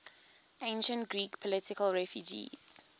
ancient greek political refugees